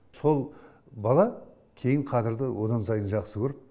сол бала кейін қадырды одан сайын жақсы көріп